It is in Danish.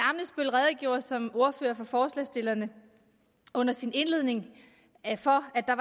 herre som ordfører for forslagsstillerne under sin indledning for at der